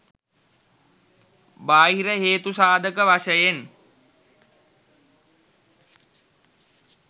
බාහිර හේතු සාධක වශයෙන්